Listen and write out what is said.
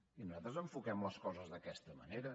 i nosaltres enfoquem les coses d’aquesta manera